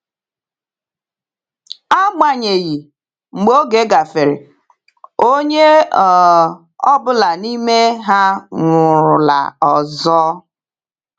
Agbanyeghị, mgbe oge gafere, onye ọ bụla n’ime ha nwụrụla ọzọ.